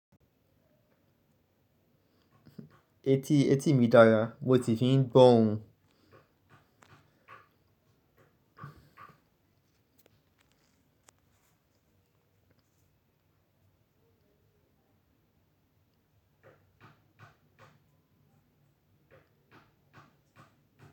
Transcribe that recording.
Etí, etí mi dára, mo ti fi ń gbó ohun.